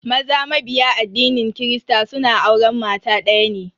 Maza mabiya addinin kirista suna auren mata daya ne.